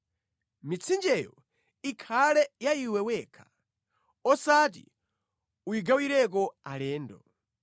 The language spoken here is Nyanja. Mitsinjeyo ikhale ya iwe wekha, osati uyigawireko alendo.